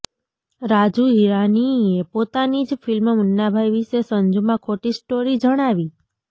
રાજુ હિરાનીએ પોતાની જ ફિલ્મ મુન્નાભાઈ વિષે સંજૂમાં ખોટી સ્ટોરી જણાવી